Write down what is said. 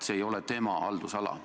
See ei ole tema haldusala.